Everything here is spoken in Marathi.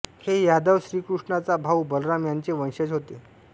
हे यादव श्रीकृष्णाचा भाऊ बलराम यांचे वंशज होते